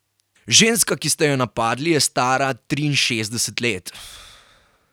Ženska, ki ste jo napadli, je stara triinšestdeset let.